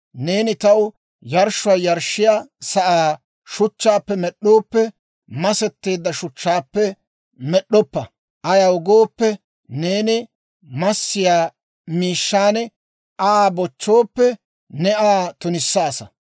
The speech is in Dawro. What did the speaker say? Neeni taw yarshshuwaa yarshshiyaa sa'aa shuchchaappe med'd'ooppe, masetteedda shuchchaappe med'd'oppa; ayaw gooppe, neeni massiyaa miishshan Aa bochchooppe, ne Aa tunissaasa.